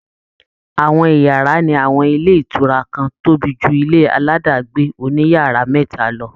Àwọn ìyàrá ní àwọn ilé ìtura kan tóbi ju ilé aládàágbé oní yàrá mẹ́ta lọ